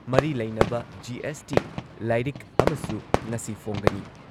ꯃꯔꯤ ꯂꯩꯅꯕ ꯖꯤ.ꯑꯦꯁ.ꯇꯤ ꯂꯥꯏꯔꯤꯛ ꯑꯃꯁꯨ ꯉꯁꯤ ꯐꯣꯡꯒꯅꯤ꯫